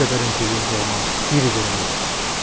Bir qədər incikliyimiz olmamışdı bir-birimizdən.